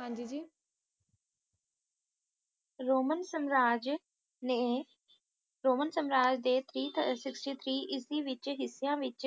ਹਾਂ ਜੀ ਜੀ ਰੋਮਨ ਸਮਰਾਜ ਨੇ ਰੋਮਨ ਸਮਰਾਜ ਦੇ three sixty three ਇਸਵੀਂ ਵਿੱਚ ਹਿੱਸਿਆਂ ਦੇ ਵਿੱਚ